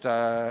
Hea Andres!